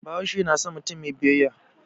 Bahaushe na san mutum mai biyayya.